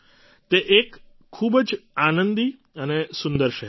તે એક ખૂબ જ આનંદી અને સુંદર શહેર છે